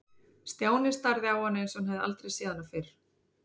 Stjáni starði á hana eins og hann hefði aldrei séð hana fyrr.